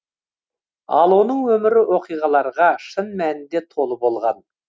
ал оның өмірі оқиғаларға шын мәнінде толы болған